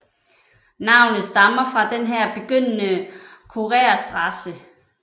Navnet stammer fra den her begyndende Churerstraße